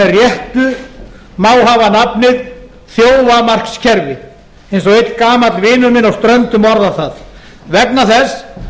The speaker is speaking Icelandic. réttu má hafa nafnið þjófamarkskerfi eins og einn gamall vinur minn á ströndum orðar það vegna þess